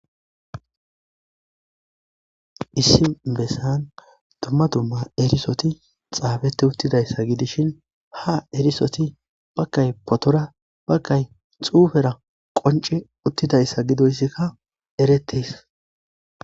Issi bessan dumma dumma erisoti xaabette uttidayssa gidishin ha erisoti bakay potora bakay xuufera qonce uttidayssa gidoyssikka eretis.